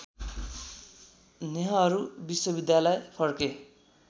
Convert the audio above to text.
नेहरू विश्वविद्यालय फर्के